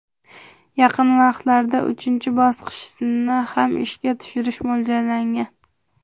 Yaqin vaqtlarda uchinchi bosqichni ham ishga tushirish mo‘ljallangan.